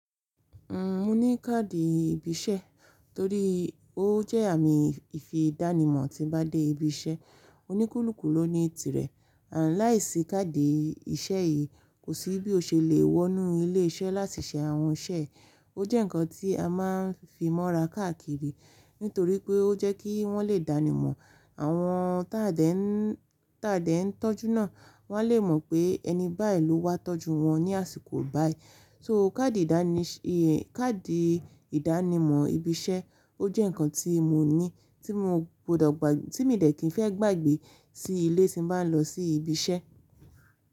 N mo ní káàdì ibi iṣẹ́ torí ó jẹ́ àmì ìdánimọ̀ tí bá dé ibi iṣẹ́. Ó ní kúlùkú lóní tí rẹ̀ láìsí káàdì iṣẹ́ yìí, kò sí bí ó ṣe lè wọnú ilé iṣẹ́ láti ṣe àwọn iṣẹ́. Ó jẹ́ ǹkan tí a máa ń fimọ́ra káàkiri, nítorípé ó jẹ́ kí wọ́n lè dáni mọ̀, àwọn tí a dẹ̀ ń, t'a dẹ̀ ń tọ́jú ná. Wọ́n á lè mọ̀ pé ẹni báyìí ló wá tọ́jú wọn ní àsìkò báyìí. So káàdì ìdánimọ̀ ibi iṣẹ́, ó jẹ́ ǹkan tí mo ní, tí mi dẹ̀ kín fẹ́ gbàgbé sí ilé tí n bá ń lọ sí ibi iṣẹ́.